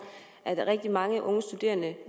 at rigtig mange unge studerende